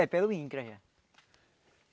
É, pelo INCRA já.